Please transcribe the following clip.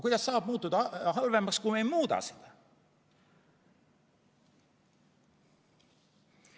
Kuidas saab muutuda halvemaks, kui me ei muuda seda?